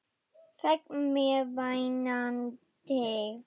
Fékk mér vænan teyg.